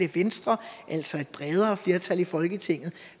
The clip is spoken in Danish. venstre altså et bredere flertal i folketinget